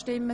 Ja Nein